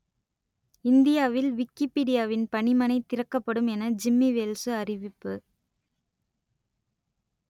இந்தியாவில் விக்கிப்பீடியாவின் பணிமனை திறக்கப்படும் என ஜிம்மி வேல்சு அறிவிப்பு